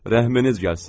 Rəhminiz gəlsin.